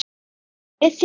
Býður við þér.